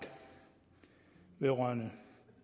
vedrørende